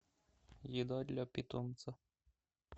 еда для питомца